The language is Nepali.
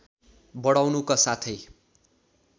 बढाउनुका साथै